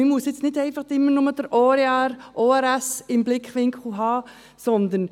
Man soll nicht nur die ORS AG im Blickwinkel haben.